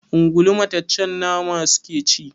Ungulu mataccen nama suke ci.